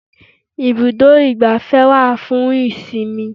Ibùdó igbàfẹ́ wá fún ìsinmi.